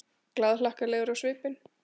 Glaðhlakkalegur á svipinn.